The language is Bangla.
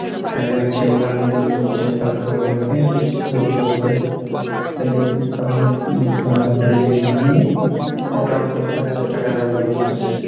private chamber গুলো, এরকম chamber মোটা অংকের টাকা, টাকা দাবি করতেসে.